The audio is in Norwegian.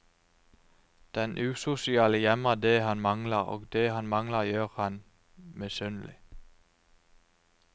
Den usosiale gjemmer det han mangler, og det han mangler gjør ham misunnelig.